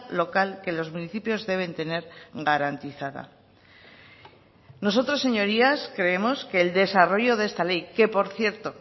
local que los municipios deben tener garantizada nosotros señorías creemos que el desarrollo de esta ley que por cierto